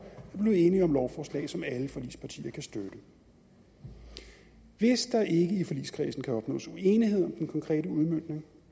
at blive enige om lovforslag som alle forligspartier kan støtte hvis der ikke i forligskredsen kan opnås enighed om den konkrete udmøntning